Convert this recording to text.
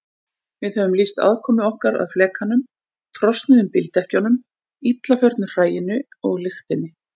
Við höfum lýst aðkomu okkar að flekanum, trosnuðum bíldekkjunum, illa förnu hræinu og lyktinni.